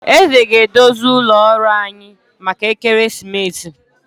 Eze ga- edozi ụlọ ọrụ anyị maka ekeresimesi